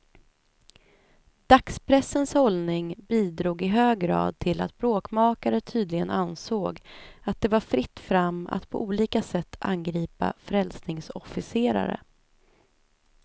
Dagspressens hållning bidrog i hög grad till att bråkmakare tydligen ansåg, att det var fritt fram att på olika sätt angripa frälsningsofficerare.